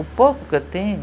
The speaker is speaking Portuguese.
O pouco que eu tenho,